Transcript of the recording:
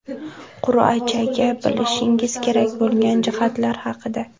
Qur’agacha bilishingiz kerak bo‘lgan jihatlar haqida.